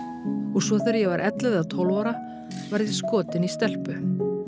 og svo þegar ég var ellefu eða tólf ára varð ég skotin í stelpu